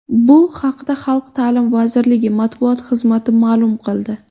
Bu haqda Xalq ta’limi vazirligi matbuot xizmati ma’lum qildi .